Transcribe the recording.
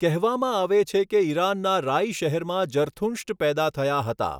કહેવામાં આવે છે કે ઈરાનના રાઇ શહેરમાં જરથુંષ્ટ પેદા થયા હતા.